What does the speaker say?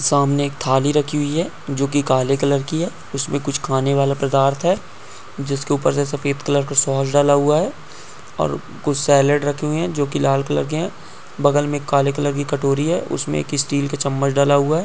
सामने एक थाली रखी हुई जो की काले कलर की है उसमे कुछ खाने वाला पदार्थ है जिसके ऊपर से सफ़ेद कलर का सॉस डाला हुआ है और कुछ सैलेड रखे हुए हैं जो की लाल कलर के हैं। बगल में एक काले कलर की कटोरी है उसमे एक स्टील का चम्मच डला हुआ है।